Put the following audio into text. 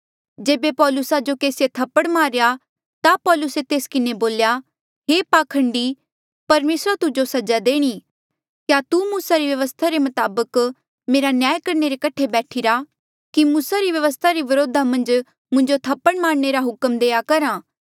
जेबे पौलुसा जो केसीऐ थप्पड़ मारेया ता पौलुसे तेस किन्हें बोल्या हे पाखंडी परमेसरा तुजो सजा देणी क्या तू मूसा री व्यवस्था रे मताबक मेरा न्याय करणे रे कठे बैठिरा कि मूसा री व्यवस्था रे व्रोधा मन्झ मुंजो थप्पड़ मारणे रा हुक्म देआ करहा